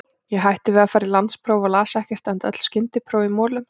Ég hætti við að fara í landspróf og las ekkert, enda öll skyndipróf í molum.